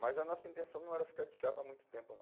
Mas a nossa intenção não era ficar de chapa há muito tempo, não.